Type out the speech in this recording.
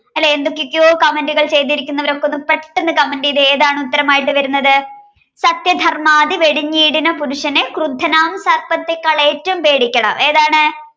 എന്തൊക്കൊക്കെയോ comment കൾ ചെയ്തിരുന്നവർ ഒന്ന് പെട്ടെന്ന് comment ചെയ്തേ ഏതാണ് ഉത്തരമായി വരുന്നത് സത്യ ധർമാദി വെടിഞ്ഞീടിന പുരുഷനെ ക്രുദ്ധനാം സർപ്പത്തേക്കാൾ ഏറ്റോം പേടിക്കണം ഏതാണ്